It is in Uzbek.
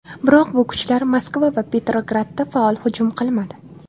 Biroq bu kuchlar Moskva va Petrogradga faol hujum qilmadi.